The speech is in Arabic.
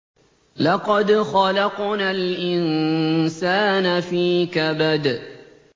لَقَدْ خَلَقْنَا الْإِنسَانَ فِي كَبَدٍ